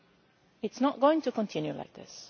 It is not going to continue like this.